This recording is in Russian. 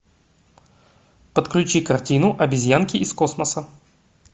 подключи картину обезьянки из космоса